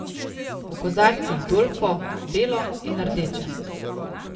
V kozarcih Dolfo, belo in rdeče.